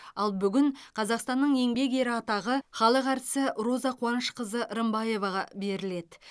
ал бүгін қазақстанның еңбек ері атағы халық әртісі роза қуанышқызы рымбаеваға беріледі